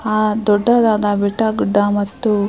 ಆ ದೊಡ್ಡ ದಾದಾ ಬೆಟ್ಟ ಗುಡ್ಡ ಮತ್ತು --